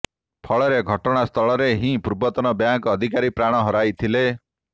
ଫଳରେ ଘଟଣାସ୍ଥଳରେ ହିଁ ପୂର୍ବତନ ବ୍ୟାଙ୍କ ଅଧିକାରୀ ପ୍ରାଣ ହରାଇଥିଲେ